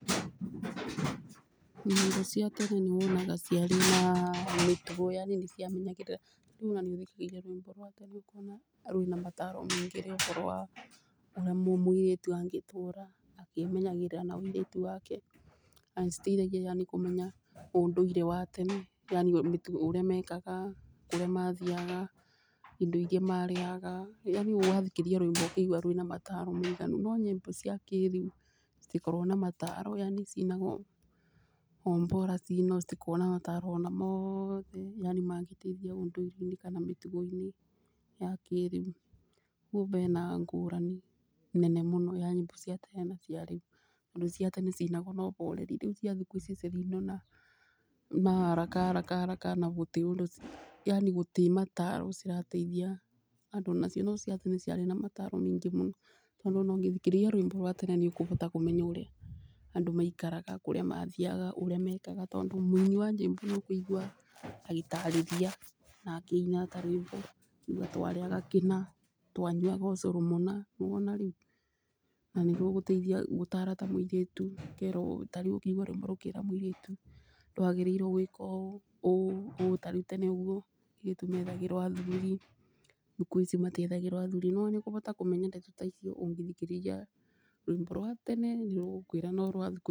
Nyĩmbo cia tene nĩ wonaga ciarĩ na mĩtugo yani nĩ ciamenyagĩrĩra, rĩu ona nĩ ũthikagĩrĩria rwĩmbo rwa tene ũkona rwĩna mataro ningĩ akorwo ũrĩa mũirĩtu angĩtũra akĩmenyagĩrĩra na ũirĩtu wake. Na nĩ citeithagĩrĩria yani kũmenya ũndũire wa tene yani ũrĩa mekaga kũrĩa mathiaga indo ria marĩaga yani wa thikĩrĩria rwĩmbo ũkaigua rwĩna mataro maiganu. No nyĩmbo ciakĩrĩu citikoragwo na mataro yani cinagwo o bora cinwo citikoragwo na mataro ona mothe yani mangĩteithia ũndũire-inĩ kana mĩtugo-inĩ ya kĩrĩu. Ũguo bena ngũrani nene mũno ya nyĩmbo cia tene na cia rĩu ũndũ ciatene ciainagwo na ũboreri, rĩu cia thikũ ici cirainwo na haraka haraka haraka na gũtirĩ ũndũ yani gũtirĩ mataro cirateithia andũ nacio. No ciathikũ icio ciarĩ na mataro maingĩ mũno tondũ ona ũngĩthikĩrĩria rwĩmbo rwa tene nĩ ũkũbota kũmenya ũrĩa andũ maikaraga kũrĩa mathiaga ũrĩa mekaga. Tondũ mũinĩ wa nyĩmbo nĩ ũkũigua agĩtarĩrĩria na akĩina ta rwĩmbo akiuga twarĩaga kĩna, twanyuaga ũcũrũ mũna. Nĩ wona rĩu na nĩ rũgũteithia gũtara ta mũirĩtu ũkerwo, tarĩu ũkaigua rwĩmbo rũkĩra mũirĩtu nagĩrĩirwi gwika ũũ ũũ ũũ. Tarĩu tene ũguo airĩtu methagĩrwo athuri thikũ ici matiethagĩrwo athuri nĩ wona nĩ ũkũbota kũmenya ndeto ta icio ũngĩthikĩrĩria rwĩmbo rwa tene nĩ rũgũkũĩra no rwa thikũ ici.